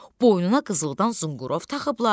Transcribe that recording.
Boynuna qızıldan zınqırov taxıblar.